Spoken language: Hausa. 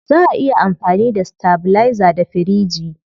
Zaa a iya amfani da stabilizer da firiji.